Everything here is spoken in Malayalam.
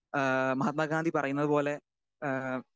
സ്പീക്കർ 2 ഏഹ് മഹാത്മാഗാന്ധി പറയുന്നതുപോലെ ഏഹ്